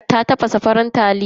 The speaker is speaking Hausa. Ta tafasa farin taliya.